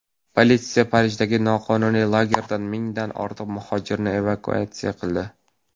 Politsiya Parijdagi noqonuniy lagerdan mingdan ortiq muhojirni evakuatsiya qildi.